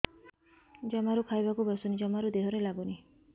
ଜମାରୁ ଖାଇବାକୁ ବସୁନି ଜମାରୁ ଦେହରେ ଲାଗୁନି